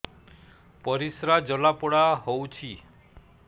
ପରିସ୍ରା ଜଳାପୋଡା ହଉଛି